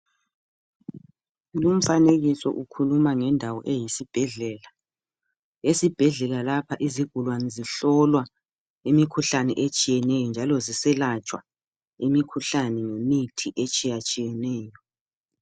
Lumfanekiso ukhuluma ngendawo eyisibhedlela. Esibhedlela lapha izigulane zihlolwa imikhuhlane etshiyeneyo njalo ziselatshwa imikhuhlane ngemithi etshiyatshiyeneyo.